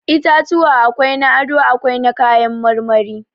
Itatuwa akwai na ado, akwai na kayan marmari.